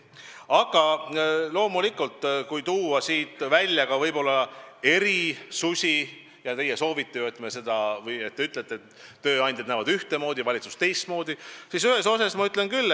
Aga loomulikult, kui võib-olla eriarvamusi välja tuua – teie ütlete ju, et tööandjad näevad ühtmoodi, valitsus teistmoodi –, siis ühte ma ütlen küll.